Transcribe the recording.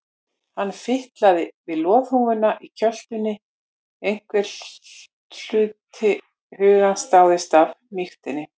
Hann fitlaði við loðhúfuna í kjöltunni, einhver hluti hugans dáðist að mýktinni.